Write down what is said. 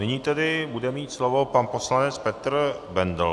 Nyní tedy bude mít slovo pan poslanec Petr Bendl.